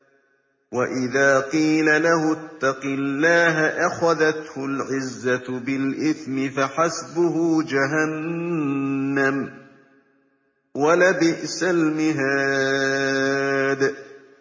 وَإِذَا قِيلَ لَهُ اتَّقِ اللَّهَ أَخَذَتْهُ الْعِزَّةُ بِالْإِثْمِ ۚ فَحَسْبُهُ جَهَنَّمُ ۚ وَلَبِئْسَ الْمِهَادُ